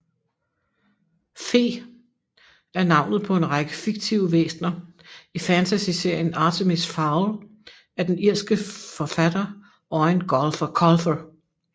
Fe er navnet på en række fiktive væsner i fantasyserien Artemis Fowl af den irske forfatter Eoin Colfer